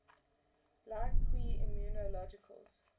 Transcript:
like qi immunologicals